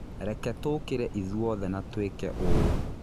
Reke tũkĩre ithuothe na tũĩke ũũ.